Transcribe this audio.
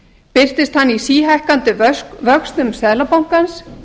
birtist hann í síhækkandi vöxtum seðlabankans